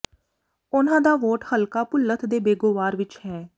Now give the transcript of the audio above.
ਉਨ੍ਹਾਂ ਦਾ ਵੋਟ ਹਲਕਾ ਭੁੱਲਥ ਦੇ ਬੇਗੋਵਾਰ ਵਿਚ ਹੈ